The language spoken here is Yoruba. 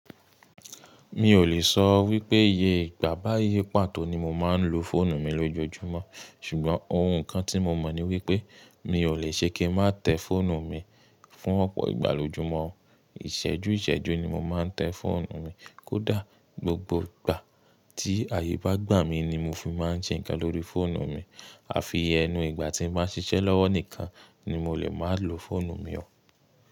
Mi ò lè sọ wípé iye ìgbà báyìí pàtó ni mo máa ń lo fóònù mi lójoojúmọ́, ṣùgbọ́n ohun kan tí mo mọ̀ ni wípé mi ò lè ṣe kí n má tẹ fóònù mi fún ọ̀pọ̀ ìgbà lójoojúmọ́. Ìṣẹ́jú ìṣẹ́jú ni mo máa ń tẹ fóònù mi, kódà gbogbo ìgbà tí ààyè bá gbà mí ni mo fi máa ń ṣe nǹkan lórí fóònù mi, àfi ẹnu ìgbà tí mo bá ń ṣiṣẹ́ lọ́wọ́ nìkan ni mo lè máa lo fóònù mi ọ̀.